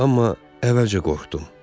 Amma əvvəlcə qorxdum.